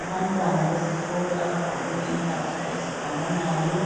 Abantwana besikolo abagqoke impahla ezifananayo